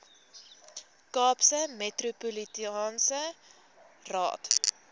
kaapse metropolitaanse raad